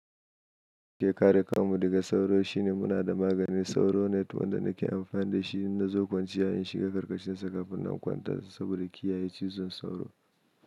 Shekara kam daga sauro shine muna da maganin sauro wanda nake amfani da shi na zo kwanciya in shiga ƙarƙashinsa kafin na kwanta saboda kiyaye cizon sauro.